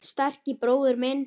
Sterki bróðir minn.